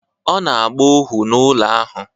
Ọ na-agba ohu n’ụlọ ahụ